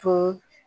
To